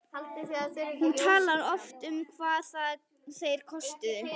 Hún talar oft um hvað þeir kostuðu.